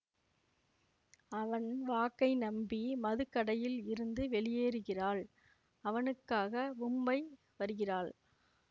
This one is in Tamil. அவன் வாக்கை நம்பி மதுக்கடையில் இருந்து வெளியேறுகிறாள் அவனுக்காக் மும்பை வருகிறாள்